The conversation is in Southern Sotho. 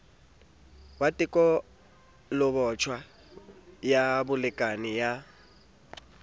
wa tekolobotjha ya bolekane ba